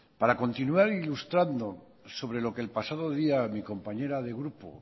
para continuar ilustrando sobre lo que el pasado día mi compañera de grupo